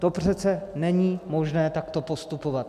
To přece není možné takto postupovat.